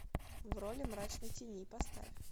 в роли мрачной тени поставь